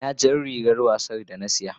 Ina jar rigar wasa da na saya?